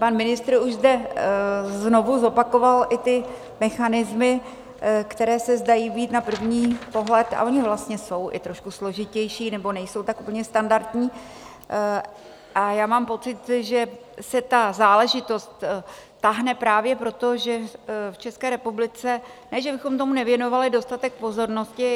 Pan ministr už zde znovu zopakoval i ty mechanismy, které se zdají být na první pohled, a ony vlastně jsou i trošku složitější, nebo nejsou tak úplně standardní, a já mám pocit, že se ta záležitost táhne právě proto, že v České republice ne že bychom tomu nevěnovali dostatek pozornosti.